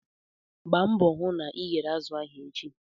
Gbaa mbọ hụ na ị ghere azụ ahụ echi!